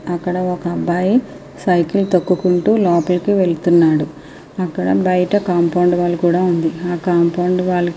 అక్కడ ఒక అబ్బాయి సైకిల్ తొక్కుకుంటూ బయటికి వెళ్తున్నాడు అక్కడ బయట కాంపౌండ్ వాల్ కూడ వుంది ఆ కాంపౌండ్ వాల్ కి --